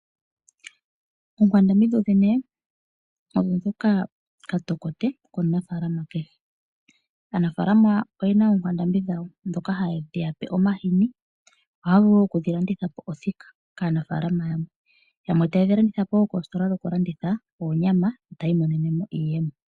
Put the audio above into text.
Ookwandambi odho ookatokote kaanafalama, aanafalama oyena ookwandambi dhawo ndhoka hadhi yape omahini nokudhilandithapo othika kaanafalama yamwe, nayamwe ohaalanditha koositola dhokulanditha oonyama yo ta yiimonenemo iiyemo .